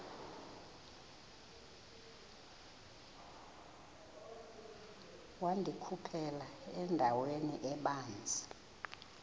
wandikhuphela endaweni ebanzi